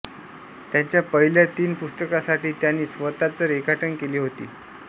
त्यांच्या पहिल्या तीन पुस्तकांसाठी त्यांनी स्वतःच रेखाटने केली होती